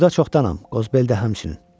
Burda çoxdanam, Qozbel də həmçinin.